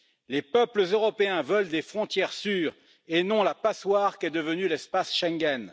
Les peuples européens veulent des frontières sûres et non la passoire qu'est devenu l'espace Schengen.